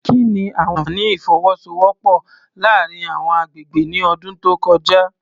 Kí ni àwọn àfààní ìfọwọ́sowọ́pọ̀ láàárín àwọn agbègbè ní ọdún tó kọjá?